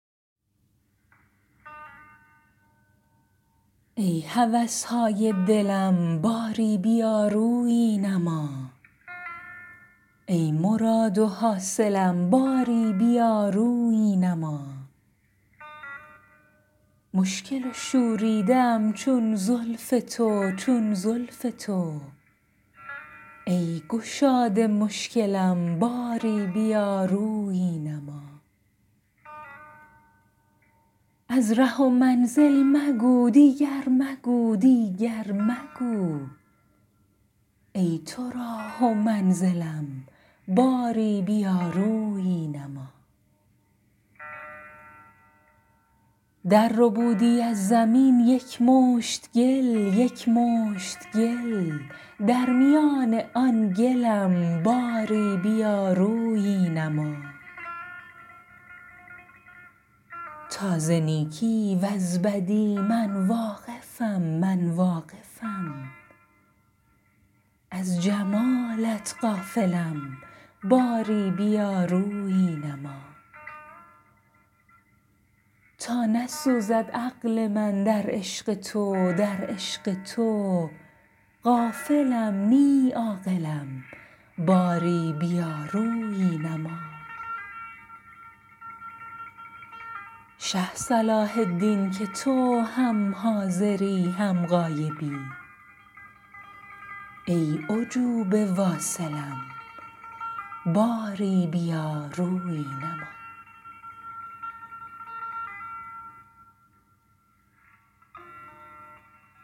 ای هوس های دلم باری بیا رویی نما ای مراد و حاصلم باری بیا رویی نما مشکل و شوریده ام چون زلف تو چون زلف تو ای گشاد مشکلم باری بیا رویی نما از ره و منزل مگو دیگر مگو دیگر مگو ای تو راه و منزلم باری بیا رویی نما درربودی از زمین یک مشت گل یک مشت گل در میان آن گلم باری بیا رویی نما تا ز نیکی وز بدی من واقفم من واقفم از جمالت غافلم باری بیا رویی نما تا نسوزد عقل من در عشق تو در عشق تو غافلم نی عاقلم باری بیا رویی نما شه صلاح الدین که تو هم حاضری هم غایبی ای عجوبه واصلم باری بیا رویی نما